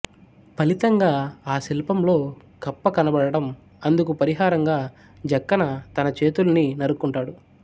ఫలితంగా ఆ శిల్పంలో కప్ప కనబడటం అందుకు పరిహారంగా జక్కన్న తన చేతుల్ని నరుక్కుంటాడు